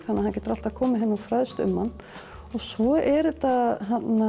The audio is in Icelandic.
þannig fólk getur alltaf komið hingað og fræðst um hann svo er þetta